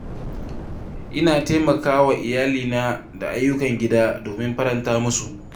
Ina taimaka wa iyalina da ayyukan gida domin faranta musu.